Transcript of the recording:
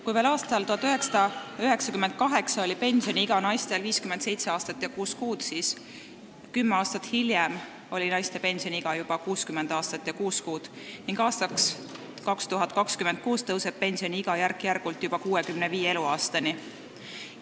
Kui veel aastal 1998 oli pensioniiga naistel 57 aastat ja kuus kuud, siis kümme aastat hiljem oli naiste pensioniiga juba 60 aastat ja kuus kuud ning aastaks 2026 tõuseb pensioniiga järk-järgult juba 65. eluaastani.